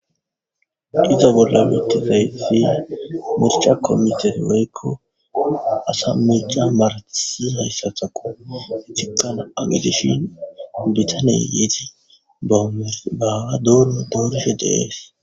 giza bolla wiittizay fi mircha komiter weyekko asa meeca maratisi hayssatako hetiqana agedishi bitaney yiiti aawa doono doorishe deees